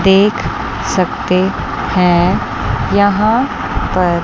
देख सकते है यहां पर--